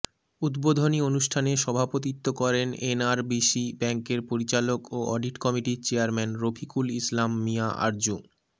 উদ্বোধনী অনুষ্ঠানে সভাপতিত্ব করেন এনআরবিসি ব্যাংকের পরিচালক ও অডিট কমিটির চেয়ারম্যান রফিকুল ইসলাম মিয়া আরজু